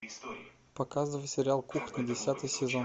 показывай сериал кухня десятый сезон